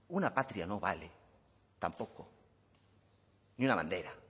una patria no vale tampoco ni una bandera